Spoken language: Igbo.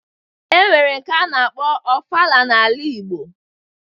E nwere nke a na-akpọ ofala n'ala igbo